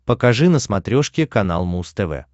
покажи на смотрешке канал муз тв